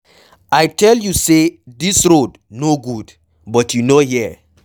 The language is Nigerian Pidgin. I tell you say dis road no good but you no hear.